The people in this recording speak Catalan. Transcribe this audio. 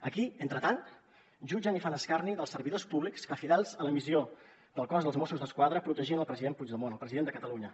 aquí entretant jutgen i fan escarni dels servidors públics que fidels a la missió del cos dels mossos d’esquadra protegien el president puigdemont el president de catalunya